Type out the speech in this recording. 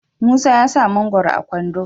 musa ya sa mangoron a kwando